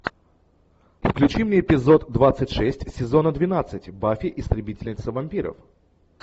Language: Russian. включи мне эпизод двадцать шесть сезона двенадцать баффи истребительница вампиров